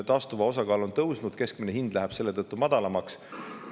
Taastuva osakaal on kasvanud, keskmine hind läheb selle tõttu madalamaks.